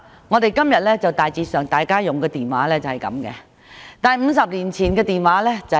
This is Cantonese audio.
我們今天使用的電話與50年前的電話比較，差別很大。